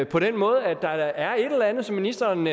på den måde at der da er et eller andet som ministeren